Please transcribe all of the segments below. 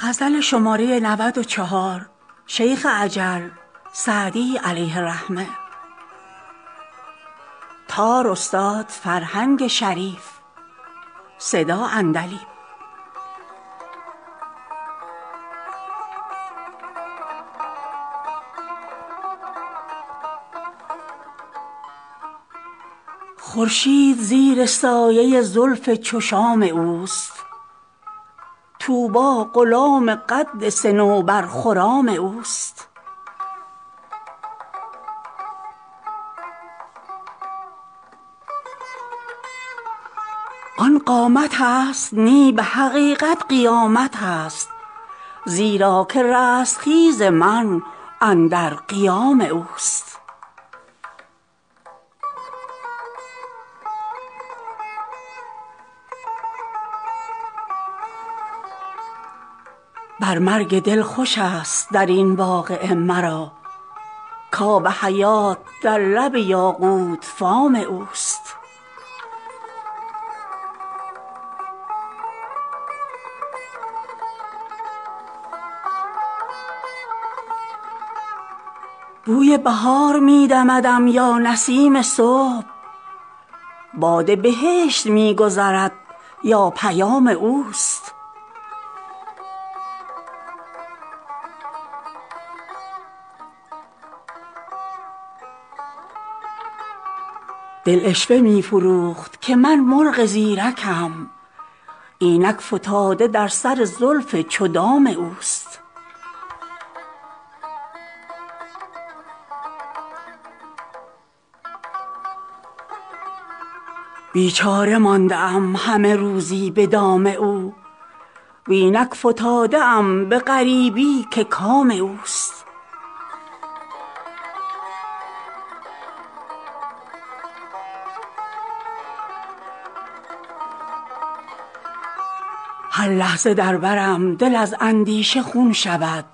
خورشید زیر سایه زلف چو شام اوست طوبی غلام قد صنوبرخرام اوست آن قامتست نی به حقیقت قیامتست زیرا که رستخیز من اندر قیام اوست بر مرگ دل خوشست در این واقعه مرا کآب حیات در لب یاقوت فام اوست بوی بهار می دمدم یا نسیم صبح باد بهشت می گذرد یا پیام اوست دل عشوه می فروخت که من مرغ زیرکم اینک فتاده در سر زلف چو دام اوست بیچاره مانده ام همه روزی به دام او و اینک فتاده ام به غریبی که کام اوست هر لحظه در برم دل از اندیشه خون شود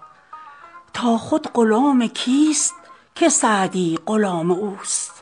تا خود غلام کیست که سعدی غلام اوست